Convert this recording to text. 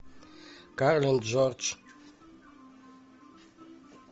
карл джордж